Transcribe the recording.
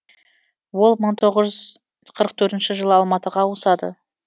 ол мың тоғыз жүз қырық төртінші жылы алматыға ауысады